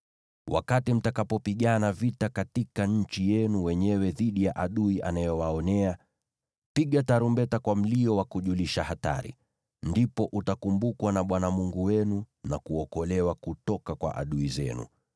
Wakati mtakapopigana vita katika nchi yenu wenyewe dhidi ya adui anayewaonea, piga tarumbeta kwa mlio wa kujulisha hatari. Ndipo utakumbukwa na Bwana Mungu wenu na kuokolewa kutoka kwa adui zenu.